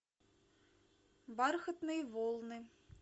бархатные волны